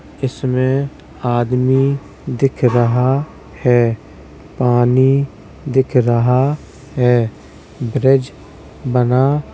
इसमें आदमी दिख रहा है। पानी दिख रहा है ब्रिज बना --